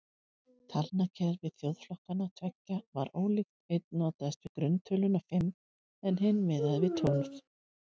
Talnakerfi þjóðflokkanna tveggja var ólíkt, einn notaðist við grunntöluna fimm en hinn miðaði við tólf.